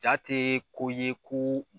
Jaa tɛ ko ye ko